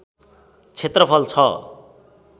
क्षेत्रफल छ